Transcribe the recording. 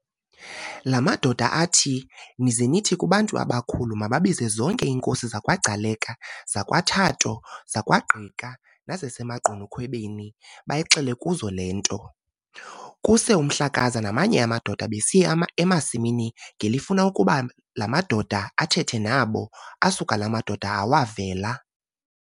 La madoda athi, ize nithi kubantu abakhulu mababize zonke iinkosi zakwaGcaleka, zakwaThatho, zakwaGqika, nezasemaGqunukhwebeni, bayixele kuzo le nto. Kuse uMhlakaza namanye amadoda besiya emasimini ngelifuna ukuba la madoda athethe nabo, asuka la madoda awavela.